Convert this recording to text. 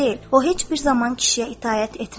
O heç bir zaman kişiyə itaət etməz.